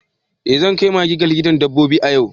Eh zan kai maggie ga likitan dabbobi a yau.